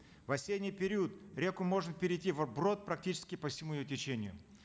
в осенний период реку можно перейти вброд практически по всему ее течению